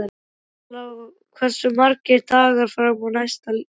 Isabella, hversu margir dagar fram að næsta fríi?